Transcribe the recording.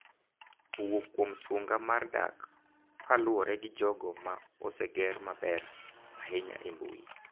Owuok kuom sunga mar dak kaluwore gi jogo ma oseger maber ahinya e mbui.